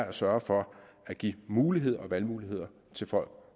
at sørge for at give muligheder og valgmuligheder til folk